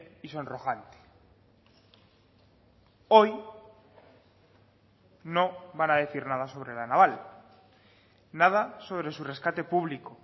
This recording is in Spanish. y sonrojante hoy no van a decir nada sobre la naval nada sobre su rescate público